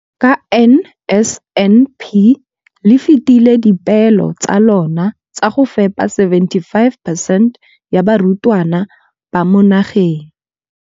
Ka NSNP le fetile dipeelo tsa lona tsa go fepa masome a supa le botlhano a diperesente ya barutwana ba mo nageng.